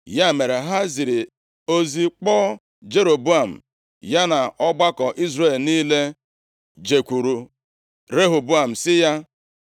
Ya mere, ha ziri ozi kpọọ Jeroboam, ya na ọgbakọ Izrel niile jekwuru Rehoboam sị ya: